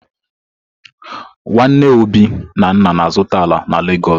Nwanne Obi na nna na-azuta ala na Legosu.